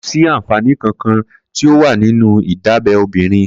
Kó si ánfánì kànkàn ti ó wà ninù idábẹ̀ óbìrín